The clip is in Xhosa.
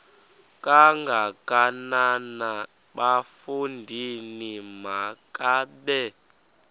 kangakanana bafondini makabe